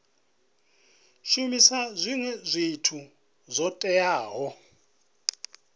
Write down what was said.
shumisa zwinwe zwithu zwo teaho